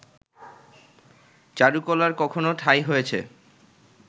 চারুকলার কখনো ঠাঁই হয়েছে